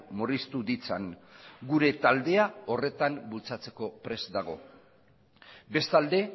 murriztu ditzan gure taldea horretan bultzatzeko prest dago bestalde